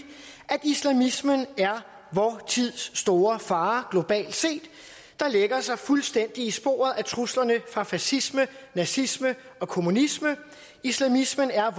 at islamismen er vor tids store fare globalt set der lægger sig fuldstændig i sporet af truslerne fra fascisme nazisme og kommunisme islamismen er